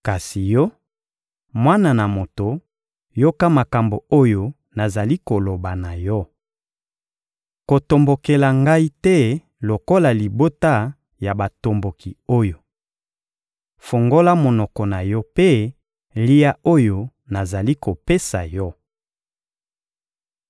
Kasi yo, mwana na moto, yoka makambo oyo nazali koloba na yo. Kotombokela ngai te lokola libota ya batomboki oyo! Fungola monoko na yo mpe lia oyo nazali kopesa yo!»